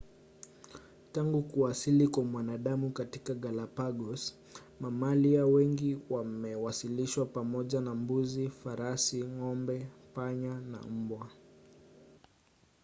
tangu kuwasili kwa mwanadamu katika galapagos mamalia wengi wamewasilishwa pamoja na mbuzi farasi ng'ombe panya paka na mbwa